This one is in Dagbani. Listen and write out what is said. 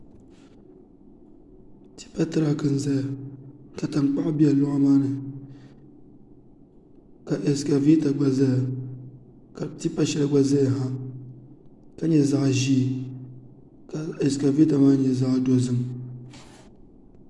Tipa tirak n ʒɛya ka tankpaɣu bɛ loɣu maa ni ka ɛskavɛta gba ʒɛya ka tipa shɛli gba ʒɛya ka nyɛ zaɣ ʒiɛ ka ɛskavɛta maa nyɛ zaɣ dozim